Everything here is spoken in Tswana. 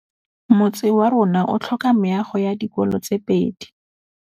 Motse warona o tlhoka meago ya dikolô tse pedi.